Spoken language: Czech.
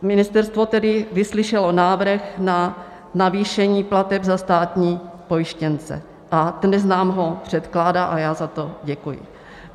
Ministerstvo tedy vyslyšelo návrh na navýšení plateb za státní pojištěnce a dnes nám ho předkládá a já za to děkuji.